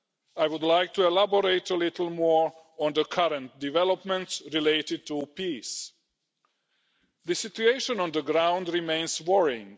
I would like to elaborate a little more on the current developments related to peace. The situation on the ground remains worrying.